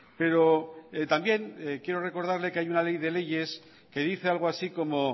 pero también quiero recordarle que hay una ley de leyes que dice algo así como